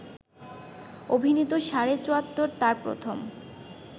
অভিনীত ‘সাড়ে চুয়াত্তর’ তার প্রথম